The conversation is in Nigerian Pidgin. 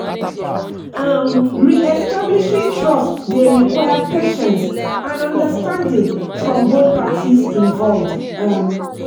um re-establishing trust dey require patience and understanding from both parties involved. um